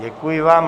Děkuji vám.